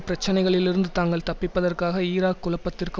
பிரச்சனைகளிலிருந்து தாங்கள் தப்பிப்பதற்காக ஈராக் குழப்பத்திற்கு